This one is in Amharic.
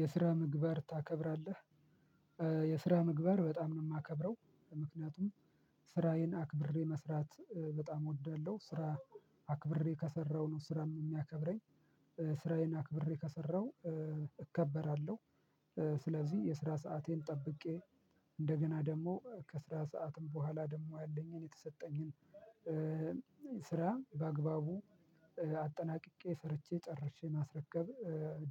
የስራ ምግባር ታከብራለህ። የስራ ምግባር በጣም ነው የማከብረው ምክንያቱም ስራዬን አክብሬ መስራት በጣም እወዳለሁ ስራ አክብሬ ከሰራሁ ነው ስራም የሚያከብረኝ ስራዬን አክብሬ ከሰራሁ እከበራለሁ ስለዚህ የስራ ሰአቴን ጠብቄ እንደገና ደግሞ ከስራ ሰዓትም በኋላ ካለኝ የተሰጠኝ ስራ በአግባቡ አጠናቅቄ ሰርቼ ጨርሼ ማስረከብ